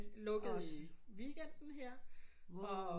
Lukkede i weekenden her